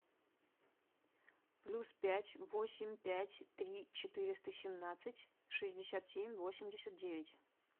плюс пять восемь пять три четыреста семнадцать шестьдесят семь восемьдесят девять